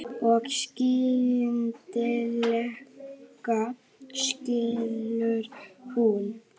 Og skyndilega skilur hún.